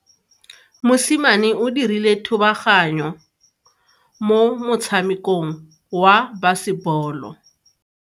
Mosimane o dirile thubaganyo mo motshamekong wa basebolo.